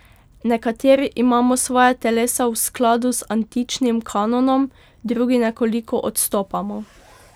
Nekateri imamo svoja telesa v skladu z antičnim kanonom, drugi nekoliko odstopamo.